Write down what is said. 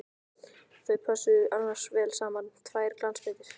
Þau pössuðu annars vel saman, tvær glansmyndir!